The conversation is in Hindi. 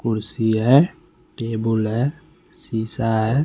कुर्सी है टेबुल है शीशा है।